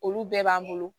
Olu bɛɛ b'an bolo